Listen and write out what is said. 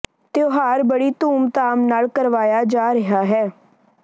ਤਿਉਹਾਰ ਬੜੀ ਧੂਮ ਧਾਮ ਨਾਲ ਕਰਵਾਇਆ ਜਾ ਰਿਹਾ ਹੈ